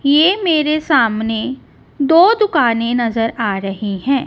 ये मेरे सामने दो दुकानें नजर आ रहीं हैं।